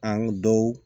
An dɔw